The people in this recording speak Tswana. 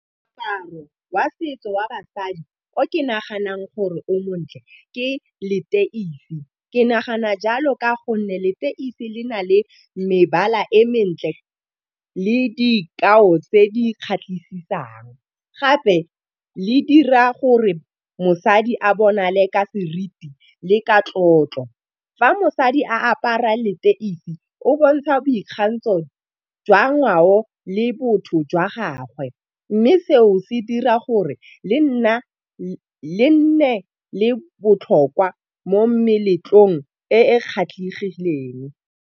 Moaparo wa setso wa basadi o ke naganang gore o montle ke leteisi. Ke nagana jalo ka gonne leteisi le na le mebala e mentle le dikao tse di kgatlhisisang, gape le dira gore mosadi a bonale ka seriti le ka tlotlo. Fa mosadi a apara leteisi o bontsha boikgantsho jwa ngwao le botho jwa gagwe, mme seo se dira gore le nne le botlhokwa mo meletlong e e kgatlhegileng.